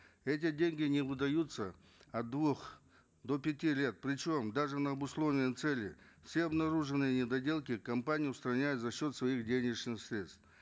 эти деньги не выдаются от двух до пяти лет причем даже на обусловленные цели все обнаруженные недоделки компания устраняет за счет своих денежных средств